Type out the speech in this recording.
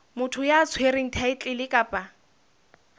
motho ya tshwereng thaetlele kapa